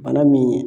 Bana min